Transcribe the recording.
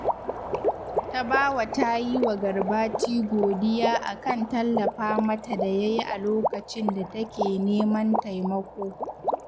Tabawa ta yi wa Garbati godiya a kan tallafa mata da ya yi a lokacin da take neman taimako